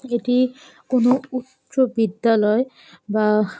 এটি-ই কোনো উচ বিদ্যালয় বা --